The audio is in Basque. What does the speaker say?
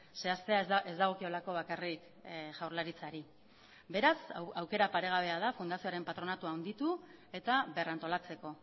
zehaztea ez dagokiolako bakarrik jaurlaritzari beraz aukera paregabea da fundazioaren patronatua handitu eta berrantolatzeko